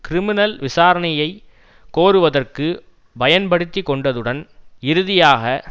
criminal விசாரணையை கோருவதற்கு பயன்படுத்திக்கொண்டதுடன் இறுதியாக